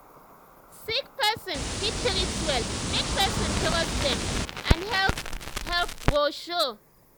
sick person fit treat well make person trust dem and health help go show.